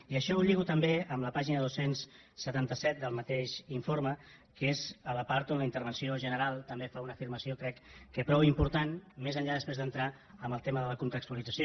i això ho lligo també amb la pàgina dos cents i setanta set del mateix informe que és la part on la intervenció general també fa una afirmació crec prou important més enllà d’entrar després en el tema de la contextualització